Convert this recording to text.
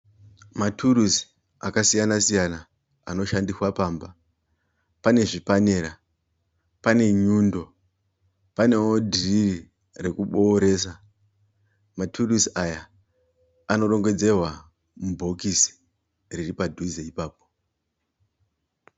Mutirauzi akasiyana siyana anoshandiswa pamba. Pane zvipanera, pane nyundo panewo dhiriri rekubooresa. Maturuzi aya anorongedzerwa mubhokisi riri padhuze ipapo.